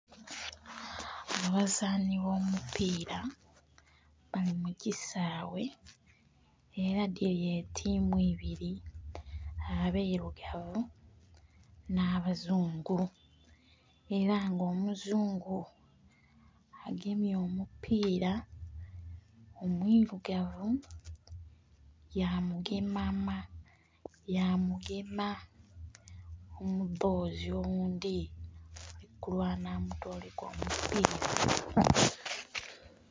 Abazani abomupira bali mukisawe era dhiri etimu ibiri abairugavu n'abazungu era nga omuzungu agemye omupira omu irugavu yamugema omudhozi oghundhi okulwana amutoleku omupira.